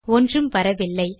ஒன்றும் வரவில்லை